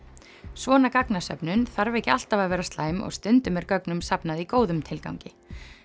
svona gagnasöfnun þarf ekki alltaf að vera slæm og stundum er gögnum safnað í góðum tilgangi